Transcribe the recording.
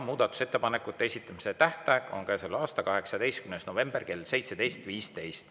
Muudatusettepanekute esitamise tähtaeg on käesoleva aasta 18. november kell 17.15.